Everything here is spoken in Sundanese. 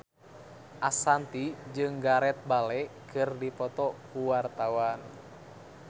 Ashanti jeung Gareth Bale keur dipoto ku wartawan